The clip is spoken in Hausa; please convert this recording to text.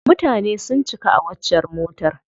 Mutane sun cika a waccar motar.